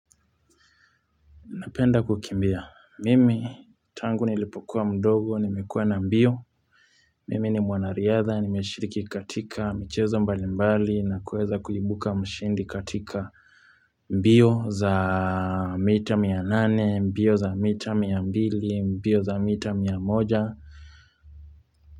Napenda kukimbia. Mimi tangu nilipokuwa mdogo, nimekuwa na mbio. Mimi ni mwanariadha, nimeshiriki katika michezo mbali mbali na kuweza kuibuka mshindi katika mbio za mita mia nane, mbio za mita mia mbili, mbio za mita mia moja.